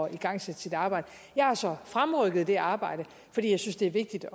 igangsætte sit arbejde jeg har så fremrykket det arbejde fordi jeg synes det er vigtigt